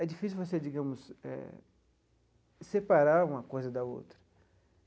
É difícil você, digamos eh, separar uma coisa da outra.